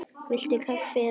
Viltu kaffi eða te?